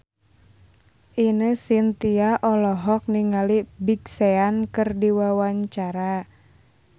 Ine Shintya olohok ningali Big Sean keur diwawancara